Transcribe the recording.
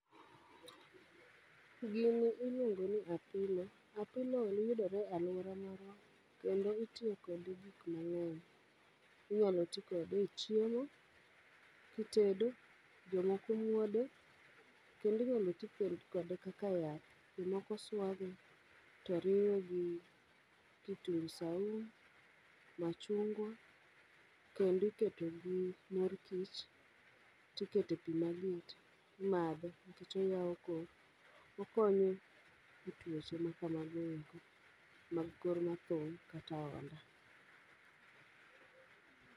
Gini iluongo ni apilo, apilo yudore e alwora marwa kendo itiyo kode gik mang'eny. Inyalo ti kode e chiemo kitedo, jomoko muode, kendinyalo ti kode kaka yath. Jomoko swage, to riwe gi kitungu saumu, machungwa, kendi keto gi mor kich. Tikete pi maliet, imadho nikech oywao kor, okonyo e tuoche ma kamago eko mag kor mathung' kata ahonda.